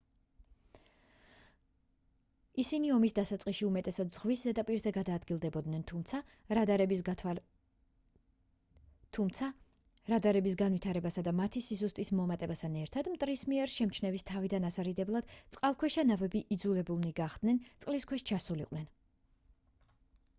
ისინი ომის დასაწყისში უმეტესად ზღვის ზედაპირზე გადაადგილდებოდნენ თუმცა რადარების განვითარებასა და მათი სიზუსტის მომატებასთან ერთად მტრის მიერ შემჩნევის თავიდან ასარიდებლად წყალქვეშა ნავები იძულებულნი გახდნენ წყლის ქვეშ ჩასულიყვნენ